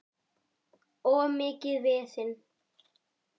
Of mikið vesen.